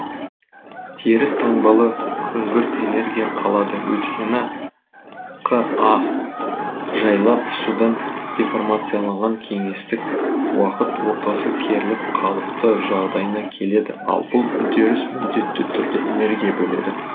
теріс таңбалы күңгірт энергия қалады өйткені қа жайлап содан деформацияланған кеңістік уақыт ортасы керіліп қалыпты жағдайына келеді ал бұл үдеріс міндетті түрде энергия бөледі